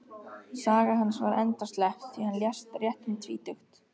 Saga hans var endaslepp, því hann lést rétt um tvítugt.